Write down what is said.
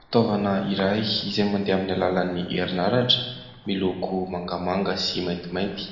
Fitaovana iray izay mandeha amin' ny alalan' ny herinaratra miloko mangamanga sy maintimainty.